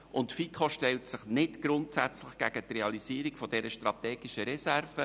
Die FiKo stellt sich nicht grundsätzlich gegen die Realisierung dieser strategischen Reserve.